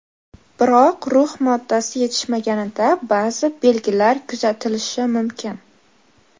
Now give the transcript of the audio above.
Biroq rux moddasi yetishmaganida ba’zi belgilar kuzatilishi mumkin.